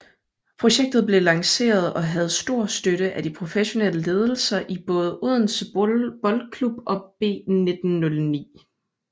Projektet blev lanceret og havde stor støtte af de professionelle ledelser i både Odense Boldklub og B1909